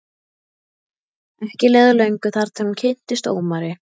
Ekki leið á löngu þar til hún kynntist Ómari.